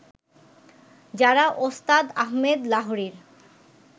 যারা ওস্তাদ আহমেদ লাহরীর